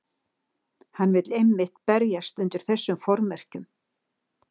Hann vill einmitt berjast undir þessum formerkjum.